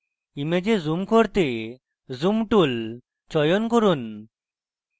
image zoom করতে zoom tool চয়ন করুন